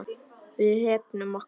Við hefnum okkar.